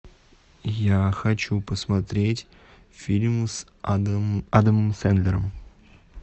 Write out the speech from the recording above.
я хочу посмотреть фильм с адамом сэндлером